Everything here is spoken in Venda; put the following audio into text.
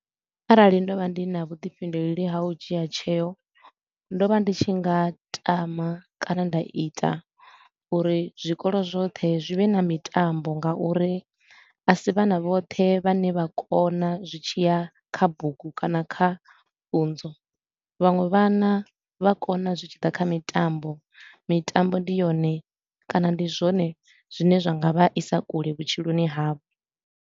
Arali ndo vha ndi na vhuḓifhinduleli ha u dzhia tsheo, ndo vha ndi tshi nga tama kana nda ita uri zwikolo zwoṱhe zwi vhe na mitambo nga uri a si vhana vhoṱhe vhane vha kona zwi tshi ya kha bugu kana kha pfunzo. Vhaṅwe vhana vha kona zwi tshi ḓa kha mitambo, mitambo ndi yone kana ndi zwone zwine zwa nga vha isa kule vhutshiloni havho.